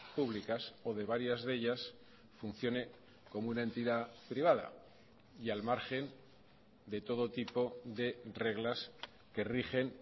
públicas o de varias de ellas funcione como una entidad privada y al margen de todo tipo de reglas que rigen